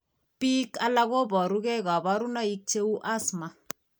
Biik alak koboru gee kabarunaik cheuu asthma